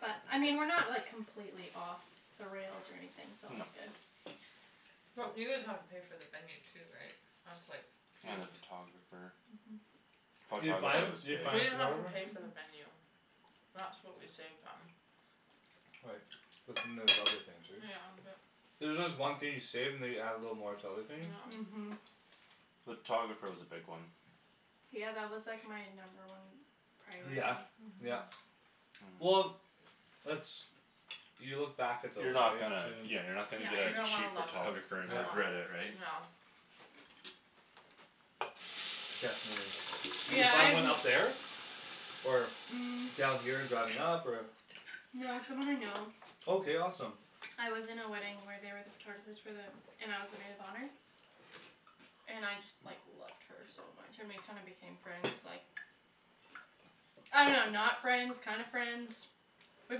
but I mean we're not like completely off the rails or anything so no that's good well you guys have to pay for the venue too right that's like huge and the photographer uh-huh photographer was big we didn't have to pay for the uh-huh venue that's what we saved on right but then there's other things right yeah but there's just one thing you save and they you add a little more to other things yeah uh-huh the photographer was a big one yeah that was like my number one yeah priority yeah uh-huh uh-huh well that's you look back at those you're not right gonna yeah you're too not gonna yeah get you're a gonna wanna cheap love those photographer uh- and uh yeah regret it right yeah definitely, did you yeah find I've one up there or, um down here and driving up or No it's someone I know okay awesome I was in a wedding where they were the photographers for the and I was the maid of honor and I just like loved her so much and we kinda became friends like I don't know not friends kinda friends we've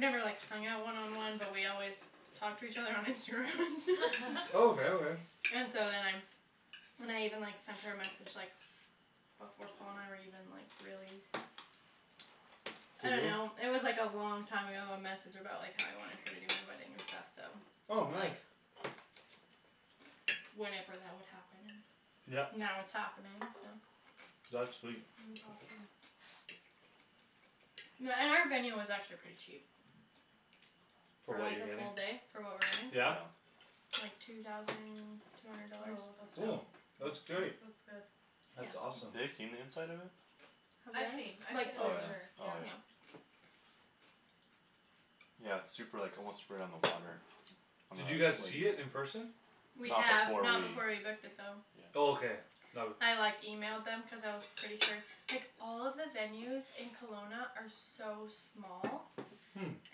never like hung out one on one but we always talk to each other on Instagram and stuff oh okay okay and so then I then I even like sent her a message like before Paul and I were even like really I don't serious know it was like a long time ago a message about like how I wanted her to do my wedding and stuff so oh like nice Whenever that would happen and yep now it's happening so that's sweet that's awesome Yeah and our venue was actually pretty cheap for for what like you're a getting, full day for what we're yeah yeah getting like two thousand two hundred oh dollars that's oh not yeah that's that's great that's good that's yeah awesome ha- they seen the inside of it Have they? I've seen I've seen Like the oh photos picture yeah yeah oh yeah yeah yeah its super like almost right on the water on the did you lake guys see it in person? we not have before we not before we booked it though yeah oh okay no- I like emailed them cuz I was pretty sure like all of the venues in Kelowna are so small hm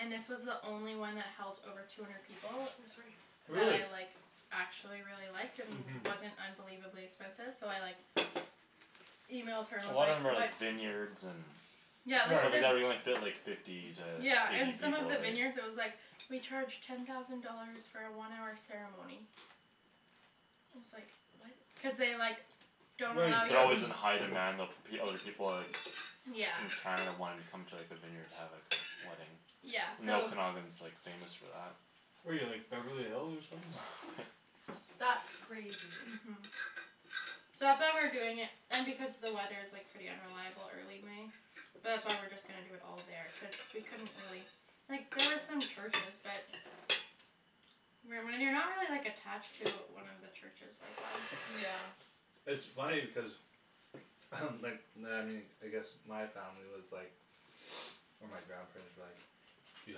and this was the only one that held over two hundred people oh sorry that I really like actually really liked and uh-huh wasn't unbelievably expensive so I like emailed her a and was lot of them like are what like vineyards and yeah so they like the fit like fifty to yeah and eight some of people all the right vineyards it was like we charge ten thousand dollars for a one hour ceremony and I was like what cuz they like don't wait allow they're that alway you was in to high demand though fo- other people are like yeah in Canada wanting to come to like a vineyard to have like a wedding yeah and so the Okanagan's like famous for that where you like Beverly Hills or something that's crazy uh-huh so that's why we're doing it and because the weather is like pretty unreliable early May but that's why we're just gonna do it all there cuz we couldn't really like there was some churches but when when you're not really like attached to one of he churches like why yeah it's funny because like I guess my family was like or my grandparents were like you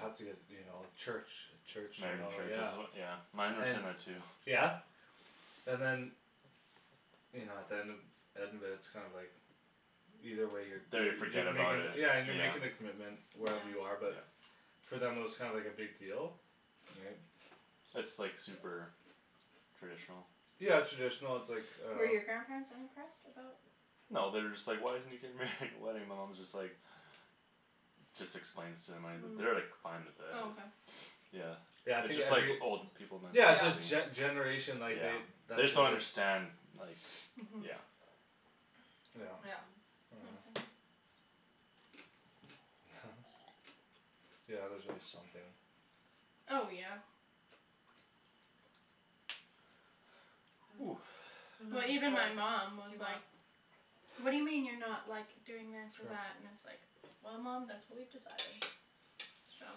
have to get you know church a church you married in know church is yeah as yeah mine were and saying that too yeah and than you know at the end end of it its kinda like either way you're da- they you're forget you're about making it yeah and you're yeah making the commitment yeah wherever you are but yeah for them it was kinda like a big deal right its like super traditional yeah traditional its like uh Were your grandparents unimpressed about no they're just like why isn't he getting married in a wedding my mom is just like just explains to them an- they're like hm fine with oh it okay yeah yeah I its think just like every old people yeah its just mentality yeah gene- generation like they yeah they that's just don't what their understand like uh-huh yeah yeah yeah yeah yeah there's always something oh yeah ooh even well even my before mom was do you want like whad do you mean you're not like doing this or sure that and it's like well mom thats what we've decided so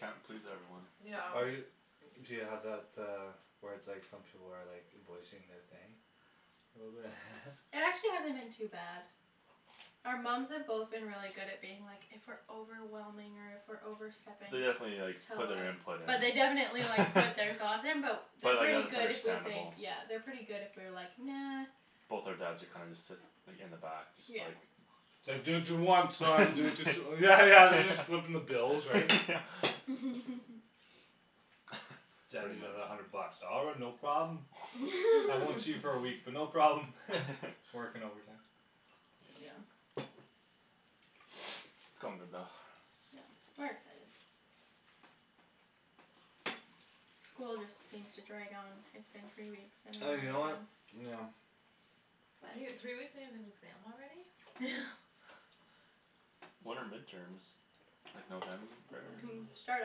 can't please everyone yeah yeah are you do you have that uh where its like some people are like voicing their thing a little bit It actually hasn't been too bad our moms have both been really good at being like if we're overwhelming or if we're overstepping they definitely like tell put their us input in but they definitely like put their thoughts in but but they're like yeah pretty there's good if we say understandable yeah they're pretty good if we're like "nah" both our dads are kinda just sit like in the back just yeah like its like do what you want son do whats yeah yeah yeah they're just footing the bill yeah right yeah daddy I pretty need much another hundred bucks "all right no problem" I won't see you for a week but no problem working overtime yeah its coming about yep we're excited school just seems to drag on it's been three weeks and you and we're know done what yeah you n- three weeks and you have an exam already when are midterms like November it start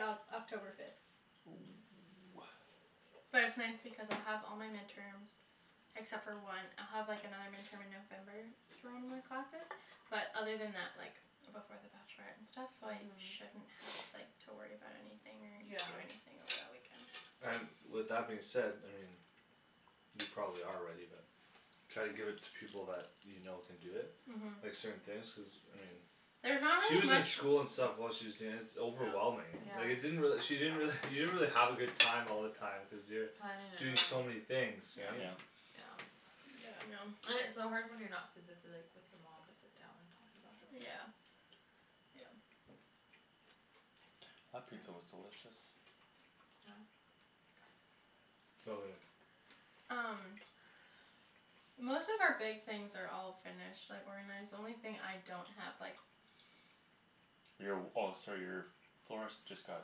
Oc- October fifth oh ah but it's nice because I'll have all my midterms except for one I'll have like another midterm in November for one of my classes but other than that like before the bachelorette and stuff so I uh-huh shouldn't have like to worry about anything or do anything over yeah that weekend so and with that being said I mean you probably are ready but try to give it to people that you know can do it like uh-huh certain things cuz I mean there's not she really was in much school and stuff while she was danc- overwhelming like it yeah didn't really she didn't really you didn't really have a good time all the time cuz you're planning it and doing all so many things right yeah yep yeah yeah I know and its so hard when you're not physically like with your mom to sit down and talk about everything yeah yeah that pizza was yeah delicious yeah so good um most of our big things are all finished like organized the only thing I don't have like your w- oh sorry your florist just got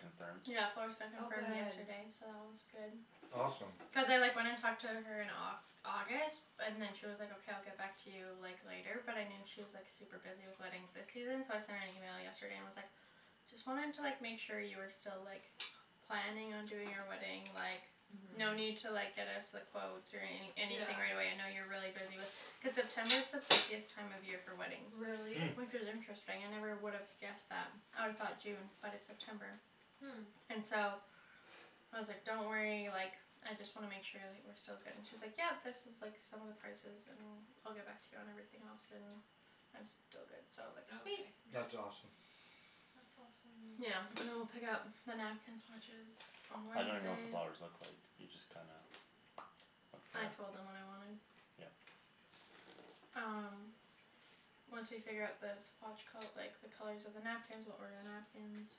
confirmed yeah florist got oh confirmed good yesterday so that one's good awesome cuz I like went and talked to her in like Au- August and then she was like okay I'll get back to you like later but I knew she was like super busy with weddings this season so I sent an email yesterday and was like just wanting to like make sure you were still like planning on doing our wedding like no uh-huh need to like get us the quotes or any yeah anything right away I know you're really busy with cuz September is the busiest time of year for weddings really hm which is interesting I never would have guessed that I'd've thought June but it's September hm and so I was like don't worry like I just wanna make sure like we're still good and she's like yep this is like some of the prices and I'll get back to you on everything else and I'm still but good okay so like sweet that's awesome really yeah and then we'll pick out the napkin swatches on I don't even know what the Wednesday flowers look like you just kinda I with the told them what I wanted yup um once we figure out the swatch col- like the colors of the napkins we'll order the napkins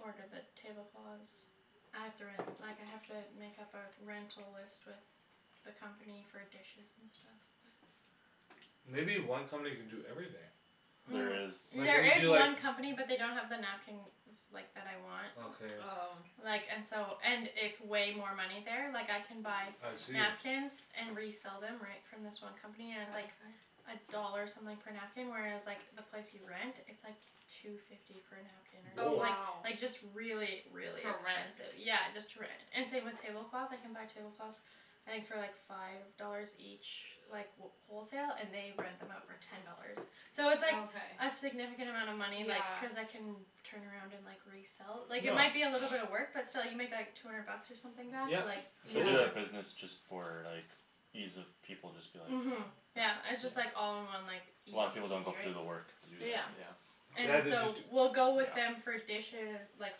order the tablecloths I have to ren- like I have to make up our rental list with the company for dishes and stuff but maybe one company can do everything there is um like when there you is do like one company but they don't have the napkins like that I want okay oh like and so and it's way more money there like I can buy I see napkins and resell them right from this one company and its oh like okay a dollar something per napkin whereas like the place you rent it's like two fifty per napkin or some- oh or woah like wow like just really really to rent expensive yeah just to rent and same with tablecloths I can buy tablecloths I think for like five dollars each like wh- wholesale and they rent them out for ten dollars so oh it's like okay a significant amount of money like yeah cuz I can turn around and like resell like it yeah might be a little bit of work but still you make like two hundred bucks or something back yep like they do totally yeah yeah that business just for like ease of people just be like uh-huh yeah yeah it's just like all in one like A lot of people easy don't go through the peasy work to do that right yeah yeah and yeah they just so d- we'll go with them yeah for dishes like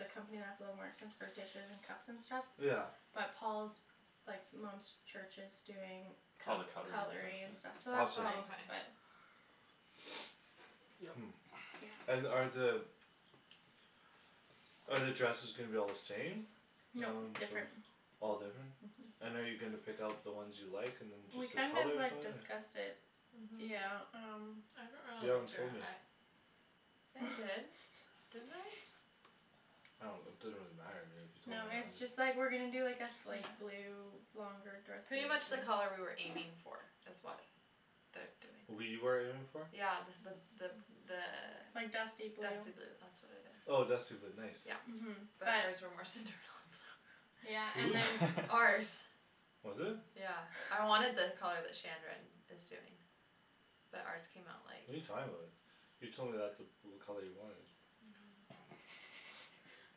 the company that's a little more expensive for dishes and cups and stuff yeah but Paul's like mom's church is doing all the cut- cutlery and cutlery and stuff stuff yeah awesome so oh okay that's nice but hm and are the are the dresses gonna be all the same? nope different all different uh-huh and are you gonna pick out the ones you like and then we just the kind of colors or like something discussed it yeah uh-huh um you haven't told me I did didn't I I don't it doesn't really matter to me you no told me it's or just like not we're gonna do like a slate yeah blue longer dresses pretty much the color we were aiming for is what their doing we were aiming for? yeah the the the like dusty the blue dusty blue that's what it is oh dusty blue nice yeah uh-huh but but ours were more Cinderella blue yeah who's? and then ours was it? yeah I wanted the color that Shandryn is doing but ours came out like what're you talking about you told me that's the blue color you wanted no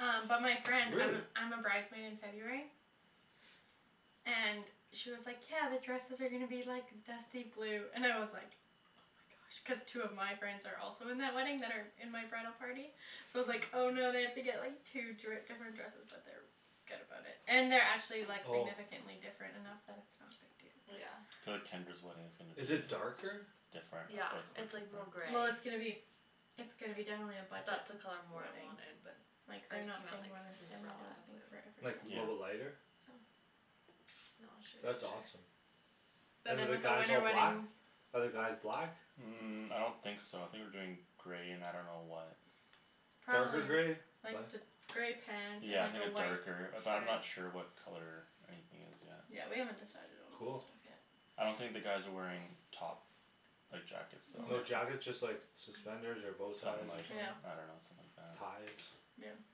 um but my friend I'm really? a I'm a bride's maid in it's okay February and she was like "yeah the dresses are gonna be like dusty blue" and I was like oh my gosh cuz two of my friends are also in that wedding that are in my bridal party so I was like "oh no I have to like get two dri- different dresses" but they're good about it and they're actually like oh significantly different enough that it's not a big deal but yeah yeah I feel like Tendra's wedding is gonna be is it darker? different yeah ah like quit it's like more different gray well it's gonna be it's gonna be definitely a budget that's the color more I wedding wanted but like they're ours not came out paying like more than ten I don't Cinderella think for blue like a yeah little bit everything I lighter think so no I'll show that's you a awesome picture but and then than the with a guys winter all black ? wedding are the guys black? um I don't think so I think we're doing gray and I don't know what darker gray probably like light th- gray pants and yeah I like think a a white darker shirt but I'm not sure what color anything is yet yeah we haven't decided on all that cool stuff yet I don't think the guys are wearing top like jackets though no no jackets just like suspenders or bowties something or like something yeah I don't know something like that ties yeah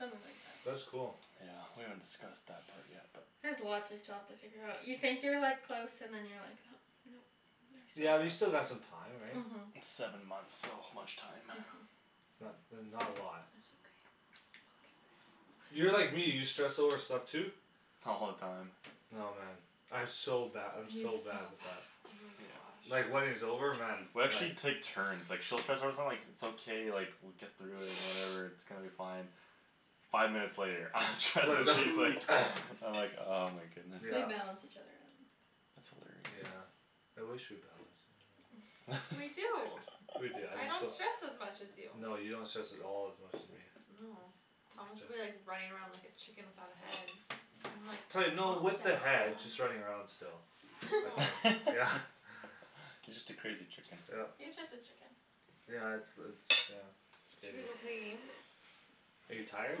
something like that that's cool yeah we haven't discussed that part yet but there's lots we still have to figure out you think you're like close and then you're like oh no yeah you there's still still got lots some time right? uh-huh seven months so much time uh-huh it's not that's not a lot that's okay we'll get there you're like me you stress over stuff too? all the time oh man I'm so bad I'm he's so so bad bad with oh that yeah my God like wedding's over man we like actually take turns like she'll stress out about like its okay like we'll get through it and whatever its gonna be fine five minutes later I'm stressed she's like I'm like oh my goodness we yeah balance each other out that's hilarious yeah I wish we balanced we do we do I'm I just don't so stress as much as you no you don't stress at all as much as me no Thomas'll be like running around like a chicken without a head I'm like pla- calm no down with the head just running around still no okay yeah you just a crazy chicken yup yeah its the its yeah its should we go crazy play a game are you I'm tired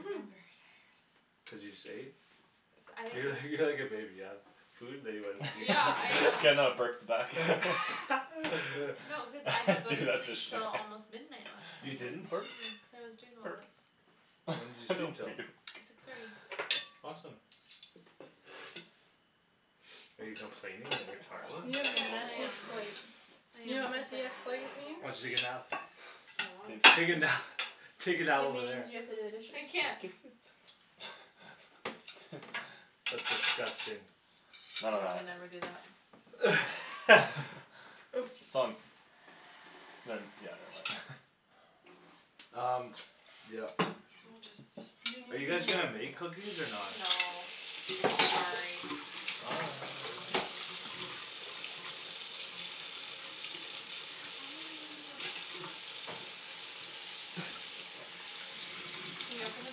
very tired cuz you just ate cuz I didn't you're like go you're like a baby you've food then you wanna sleep yeah I can uh now burp the back no cause I didn't go to sleep till almost midnight last you night didn't? burp cuz I was doing all burp this when did you sleep don't till? puke six thirty awesome are you complaining that you're you go tired have to the yes the I am messiest washroom plates I you am know what complaining messiest plate very oh did means? hard you take a nap I means wanted to take a this nap take It a nap over there means you have to do the I dishes can't that's disgusting none of yeah we that never do that its on ne- yeah never mind laughs] um yup we'll just are you guys gonna make cookies or not? no sorry why are you running away? can you open the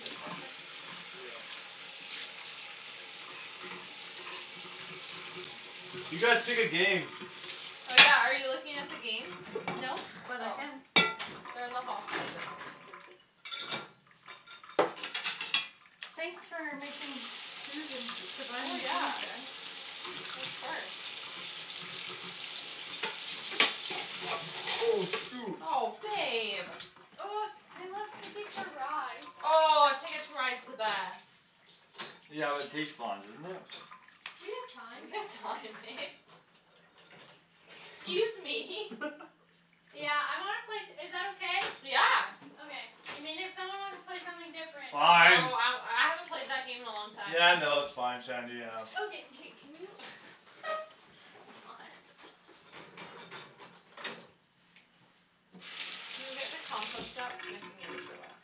dishwasher yeah you guys pick a game oh yeah are you looking at the games no but I oh can they're in the hall closet thanks for making food and oh providing food yeah guys of course oh shoot oh babe oh I like TIcket to Ride oh Ticket to Ride's the best yeah but it takes long doesn't it we have time we have time babe excuse me yeah I wanna play t- is that okay? yeah okay I mean if someone wants to play something different oh fine I I haven't played that game in a long time yeah no its fine Shandy yeah okay k can you what can you get the compost out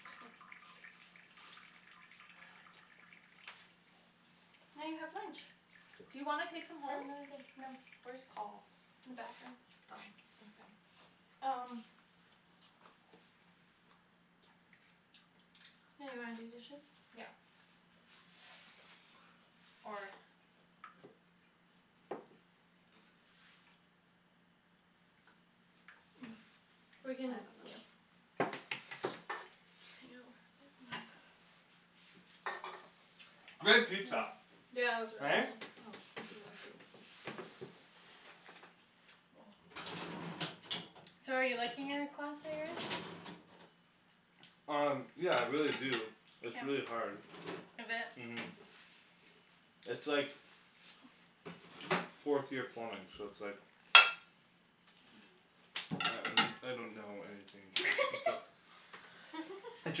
now you have lunch do you wanna take some for home? another day no where's Paul? in the bathroom oh okay um yeah you wanna do dishes? yeah or we're I don't know yo that great pizza yeah it was right? really oh this is empty so are you liking your class that you're in? um yeah I really do its really hard is it? uh-huh its like fourth year plumbing so its like I I don't know anything its a its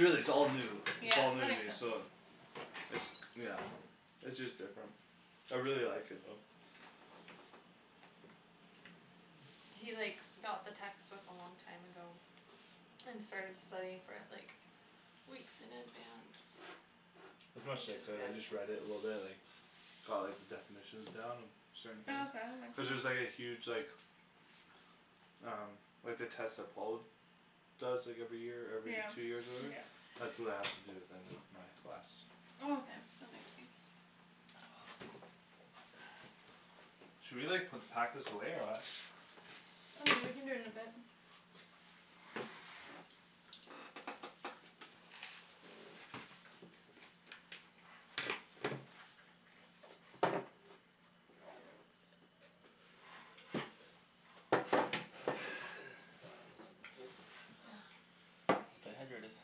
really its all new yeah its all new that to makes me sense so its yeah its just different I really like it though He like got the textbook a long time ago and started studying for it like weeks in advance which is I good just read it a little bit like got like the definitions down and certain things oh okay that cuz there's makes like a sense huge like um like the test that Paul does like every year or yeah every two years or whatever yeah that's what I have to do at the end of my class oh okay that makes sense should we like put pack this away or what oh yeah we can do it in a bit stay hydrated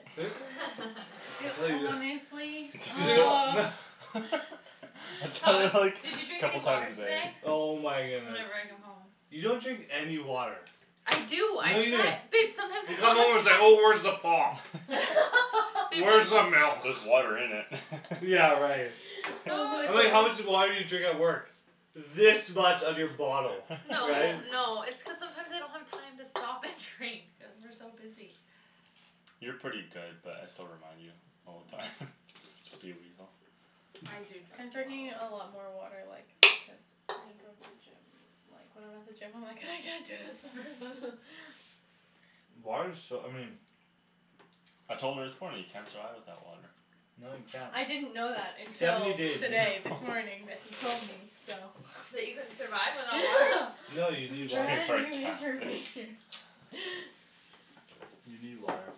you I tell you wh- oh I Paul tell Paul her is like did "did you you drink drink any couple any a time water water a today? day today?" oh my goodness whenever I come home you don't drink any water I do I no you don't try babe you come home its sometimes like oh where's the I pop babe there's where's the just just milk there's water in it yeah right oh no I was my like how much it's gosh just water did you drink at work this much of your bottle no right no it's cuz sometimes I don't have time to stop and drink cuz we're so busy you're pretty good but I still remind you all the time just to be a weasel I do I'm drink drinking a lot more like because I go to the gym like when I'm at the gym I'm like "I can't do this water" water's so I mean I told her this morning you can't survive without water No you can't I didn't know that until seventy days today this morning that he told me so that you couldn't survive without water no you need water brand new information you need water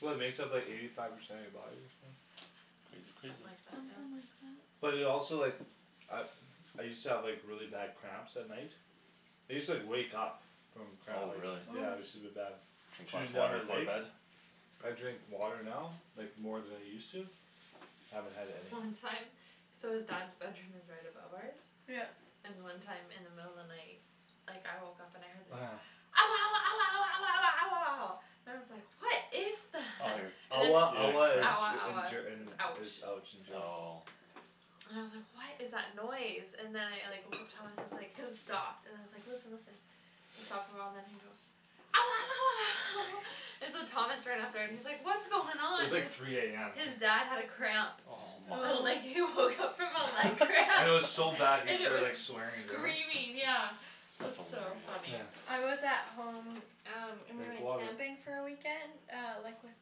well it makes up like eighty five percent of you body or something crazy something crazy like that something yeah like that but it also like I I used to have like really bad cramps at night I used to like wake up from cramp oh really yeah it use to be oh bad drink lots shooting a down water my before leg bed I drink water now like more than I use to haven't had any long time so his dad's bedroom is right above ours yup and one time in the middle of the night like I woke up and I heard this oh yeah ouah ouah ouah ouah ouah ouah ouah ouah ouah and I was like what is oh you're that and then ouah he ouah is had ouah cramps Ger in ouah Ger in is is ouch ouch in German oh and I was like what is that noise and then I like woke up Thomas is like cuz it stopped and then I was like listen listen it stopped a while and then he goes ouah ouah ouah and so Thomas ran up there and he's like what's going it on was like three am his dad had a cramp oh my and like oh he woke up from a leg cramp and and it it was was so bad he and it started like was swearing in German screaming yeah it was that's so hilarious funny yeah I was at home um and we drink went water camping for a weekend uh like with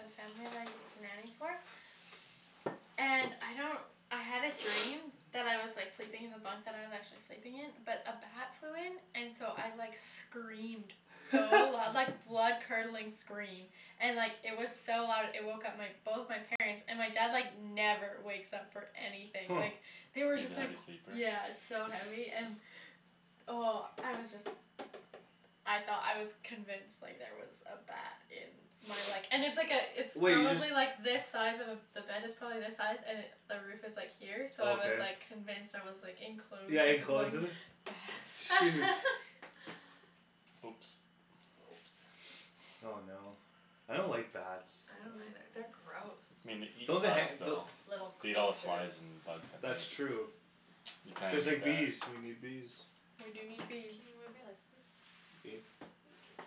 the family that I used to nanny for and I don't I had a dream that I was like sleeping in the bunkbed I was actually sleeping in but a bat flew in and so I like screamed so loud like blood curdling scream and it was like so loud it woke up my both my parents and my dad like never wakes up for anything huh like they were he's a just like heavy sleeper yeah so heavy and oh I was just I thought I was convinced like there was a bat in my like and it's like a it's wait you just probably like this size of a the bed is probably this size and it the roof is like here so I was okay like convinced I was like enclosed yeah enclosed with with the it ba- shoot bat oops oh no I don't like bats uh- uh they're gross me nei- don't they han- don- though little beat all creatures flys and bugs at that's night true you kinda just need like bees that we need bees we do need can you bees move your legs please thank you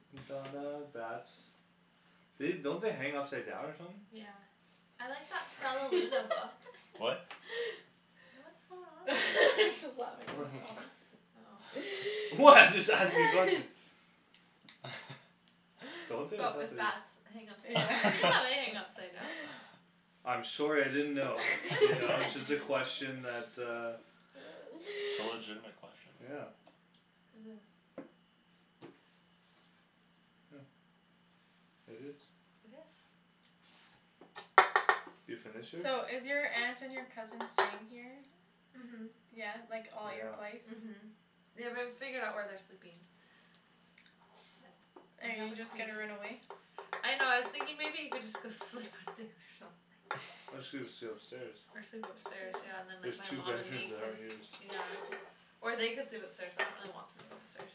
bats they don't they hang upside down or something yeah I like that Stellaluna book what what's going on over there? what oh what I'm just asking nothing don't they I but thought with they bats hang upside yeah down yeah they hang upside down I'm sorry I didn't know you its know it's just a okay question that uh it's a legitimate question yeah it is huh it is it is you finish it? so is your aunt and your cousin staying here then? uh-huh yeah like all at your yeah place uh-huh they w- haven't figured out where they're sleeping are you just gonna run away? I know I was thinking maybe he could just go sleep with Dan or something Or just sle- sleep upstairs or sleep upstairs yeah yeah and then there's like my two mom and bedrooms me that can aren't used yeah or they could sleep upstairs but I really don't want people upstairs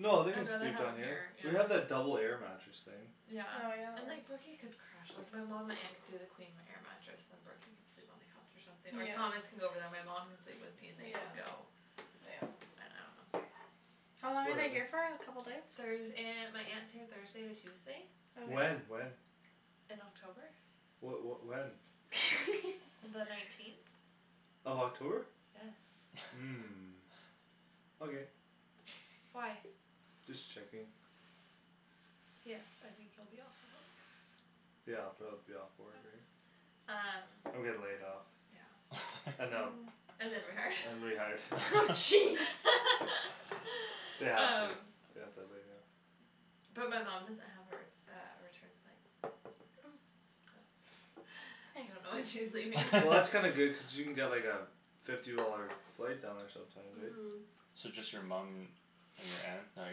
no they can I'd rather sleep have down them here here yeah we have that double air mattress thing yeah oh yeah and there's like Brooky could crash like my mom my aunt could do the queen air mattress and then Brooky could sleep on the couch or something or Thomas yeah could go over there and my mom could sleep with me and they can yeah go yeah I I don't know how long are they whatever here for a couple days? Thurs- aunt my aunt's here Thursday to Tuesday when okay when in October wha- what when the nineteenth of October yes huh okay why just checking yes I think you'll be off the yeah I'll probably be off work right um I'm getting laid off yeah and them ooh and then rehired and rehired jeez they have to um they have to lay me off but my mom doesn't have her uh a return flight oh so I don't nice know when she's leaving well that's kinda good cause she can get like a fifty dollar flight down there sometimes right uh-huh so just your mum and your aunt not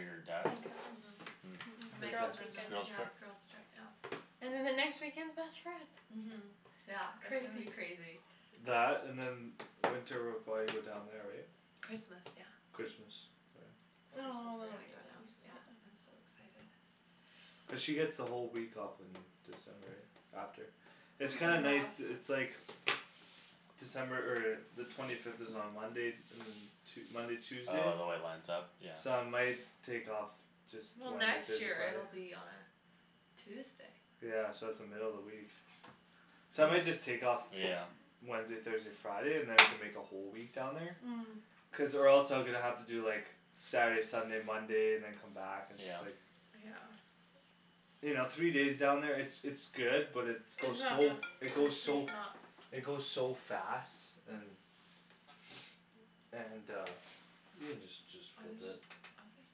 your dad uh- uh huh girls' it's a weekend girls' yeah trip girls' trip yeah and then the next weekend's bachelorette uh-huh yeah it's gonna be crazy crazy that and then winter we'll probably go down there right Christmas yeah Christmas oh yeah I'm so excited cuz she get's the whole week off in December yeah after a it's week kinda and a nice half to it's like December er the twenty fifth is on Monday and then Tue- Monday Tuesday oh the way it lines up yeah so I might take off just well Wednesday next Thursday year it'll Friday be on Tuesday yeah so its the middle of the week so I might just take off yeah Wednesday Thursday Friday and then we can make a whole week down there hm cuz or else I'm gonna have to do like Saturday Sunday Monday and then come back and just yeah like yeah you know three days down there it's it's good but its it's goes not so f- enough it goes so it goes so fast and and uh you can just just I was just flip it okay